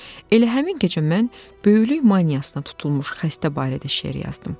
Elə həmin gecə mən böyüklük maniyasına tutulmuş xəstə barədə şeir yazdım.